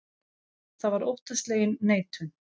Það var óttaslegin neitun.